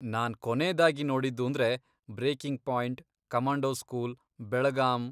ನಾನ್ ಕೊನೇದಾಗಿ ನೋಡಿದ್ದೂಂದ್ರೆ ,breaking point, commando school, Belgaum,.